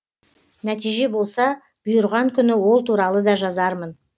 нәтиже болса бұйырған күні ол туралы да жазармын